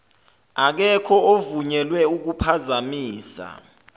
akekho ovunyelwe ukuphazamisa